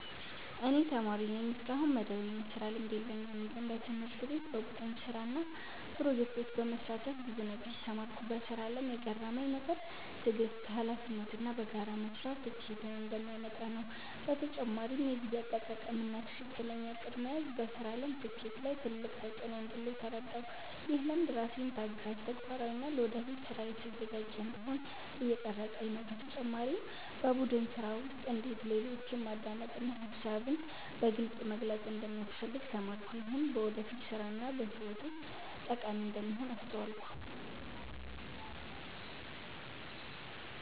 እኔ ተማሪ ነኝ፣ እስካሁን መደበኛ የስራ ልምድ የለኝም። ግን በትምህርት ቤት በቡድን ስራ እና ፕሮጀክቶች በመሳተፍ ብዙ ነገር ተማርኩ። በስራ አለም የገረመኝ ነገር ትዕግስት፣ ሀላፊነት እና በጋራ መስራት ስኬትን እንደሚያመጣ ነው። በተጨማሪም የጊዜ አጠቃቀም እና ትክክለኛ እቅድ መያዝ በስራ አለም ስኬት ላይ ትልቅ ተፅዕኖ እንዳለው ተረዳሁ። ይህ ልምድ ራሴን ታጋሽ፣ ተግባራዊ እና ለወደፊት ስራ የተዘጋጀ እንዲሆን እየቀረፀኝ ነው። በተጨማሪም በቡድን ስራ ውስጥ እንዴት ሌሎችን ማዳመጥ እና ሀሳብን በግልፅ መግለጽ እንደሚያስፈልግ ተማርኩ። ይህም በወደፊት ስራ እና በህይወት ውስጥ ጠቃሚ እንደሚሆን አስተዋልኩ።